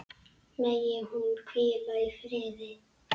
Megi hún hvíla í friði.